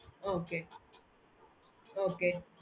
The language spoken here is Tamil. okay okay